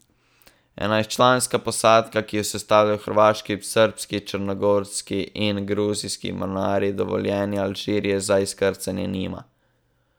Enajstčlanska posadka, ki jo sestavljajo hrvaški, srbski, črnogorski in gruzijski mornarji, dovoljenja Alžirije za izkrcanje nima.